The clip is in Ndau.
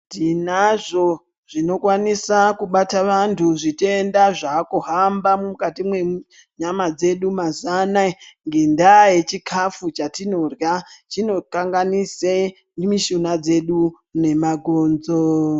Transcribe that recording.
Tinazvo zvinokwanisa kubata vantu zvitenda kuhamba mukati nyama dzedu mazuwa anaya ngendaa yechikafu chatinodyra chinokanganisa mishuna dzedu nemabhonzo.